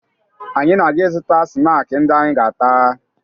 Anyị na-aga ịzụta snaakị ndị anyị ga-ata